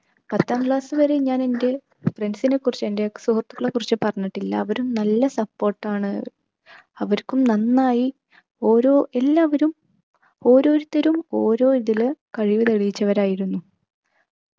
പത്താം class വരെ ഞാൻ എൻ്റെ friends നെക്കുറിച്ച് എൻ്റെ സുഹൃത്തുക്കളെക്കുറിച്ച് പറഞ്ഞിട്ടില്ല. അവരും നല്ല support ആണ്, അവർക്കും നന്നായി ഓരോ എല്ലാവരും ഓരോരുത്തരും ഓരോ ഇതില് കഴിവ് തെളിയിച്ചവർ ആയിരുന്നു.